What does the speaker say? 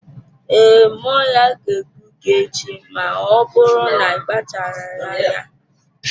Ee, mmụọ ya ga-egbu gị echi ma ọ bụrụ na akpacharaghị anya.